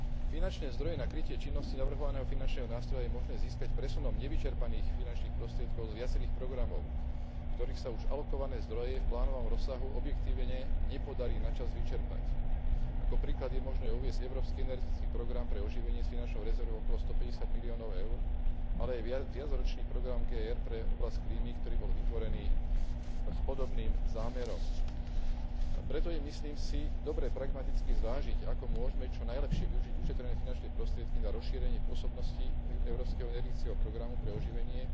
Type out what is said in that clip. Finančné zdroje na krytie činnosti navrhovaného finančného nástroja je možné získať presunom nevyčerpaných finančných prostriedkov z viacerých programov, v ktorých sa už alokované zdroje v plánovanom rozsahu objektívne nepodarí načas vyčerpať. Ako príklad je možné uviesť Európsky energetický program pre oživenie s finančnou rezervou okolo 150 miliónov EUR, ale aj viacročný program GR pre oblasť klímy, ktorý bol vytvorený s podobným zámerom. Preto je myslím si dobré pragmaticky zvážiť, ako môžme čo najlepšie využiť ušetrené finančné prostriedky na rozšírenie pôsobnosti Európskeho energetického programu pre oživenie